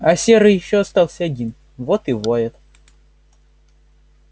а серый ещё остался один вот и воет